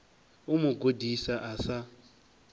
u mu gudisa a sa